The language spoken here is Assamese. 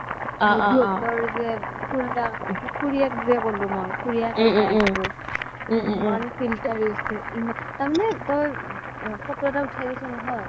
অ অ মঞ্জু হতৰ যে খুৰাক খুৰিয়েকৰ ভাইয়েক টো ইমান filter use কৰে তাৰ মানে তই photo এটা উঠাই দিছ নহয়